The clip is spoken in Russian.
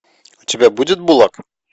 у тебя будет булаг